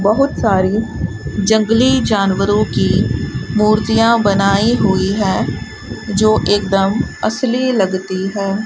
बहुत सारी जंगली जानवरों की मूर्तियां बनाई हुई है जो एकदम असली लगती है।